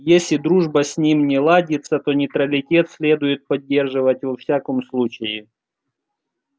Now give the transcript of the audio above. если дружба с ним не ладится то нейтралитет следует поддерживать во всяком случае